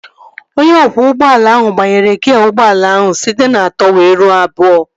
Onye ọkwọ ụgbọala ahụ gbanwere gịa ụgbọala ahụ site na atọ wee ruo abụọ